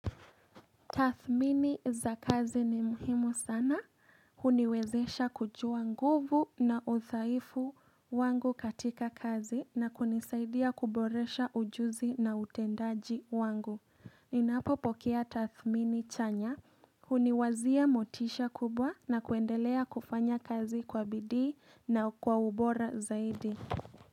Tathmini za kazi ni muhimu sana. Huniwezesha kujua nguvu na uthaifu wangu katika kazi na kunisaidia kuboresha ujuzi na utendaji wangu. Ninapopokea tathmini chanya, Huniwazia motisha kubwa na kuendelea kufanya kazi kwa bidii na kwa ubora zaidi.